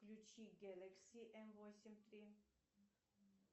включи гэлэкси м восемь три